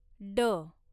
ड